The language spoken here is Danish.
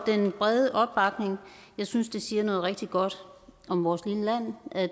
den brede opbakning jeg synes det siger noget rigtig godt om vores lille land at